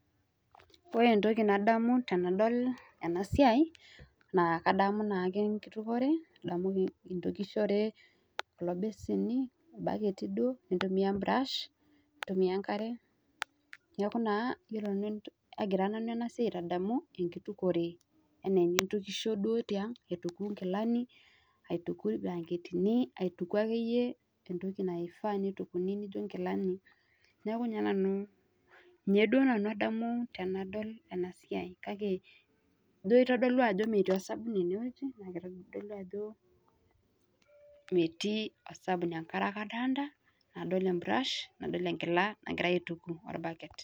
Ore ntokii nadamu tanadol ena siai naa kadamu naake nkitukore, nadamu tokishore kuloo besenii, lbaaketi doo nitumia burash nitumia nkaare. Neeku naa agira nanu ena siai aitadamu akitukore ene nitukusho doo te ang' aitukuu gilaani, atukuu lbaaketini, aitukuu ake eiyee ntokii naifaa netukuni nijoo gilaani. Neeku ninye nanu nia doo nanu adamu tanadol siai kaki doo eitodolu ajoo metii osabunu ene wueji naa keitodolu ajoo metii osabuni ankaare ake adolita, nadol eburash, nadol egilaa nagirai aitukuu olbaaket.